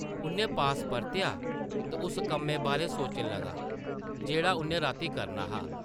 उʼन्नै पास परतेआ ते उस कम्मै बारै सोचन लगा, जेह्ड़ा उʼन्नै रातीं करना हा ।